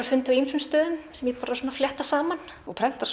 fundið á ýmsum stöðum sem ég bara flétta saman og prentar